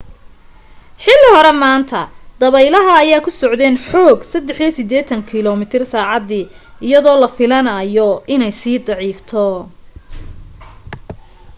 xili hore maanta dabeelaha ayaa ku socdeen xoog 83 kilomiitar saacadii iyadoo la filanaayo inay sii daciifto